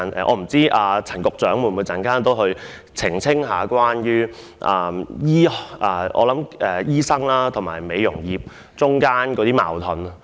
我不知道陳局長稍後會否澄清醫學界與美容業界之間的矛盾。